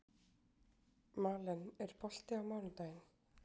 Malen, er bolti á mánudaginn?